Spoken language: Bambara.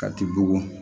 Ka t'i bugɔ